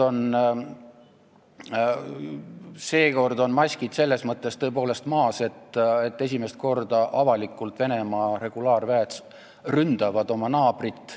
Seekord on maskid selles mõttes tõepoolest maas, et esimest korda Venemaa regulaarväed avalikult ründasid oma naabrit.